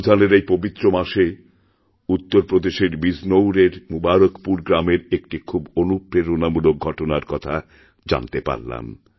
রমজানের এইপবিত্র মাসে উত্তরপ্রদেশের বিজনৌরএর মুবারকপুর গ্রামের একটি খুব অনুপ্রেরণামূলকঘটনার কথা জানতে পারলাম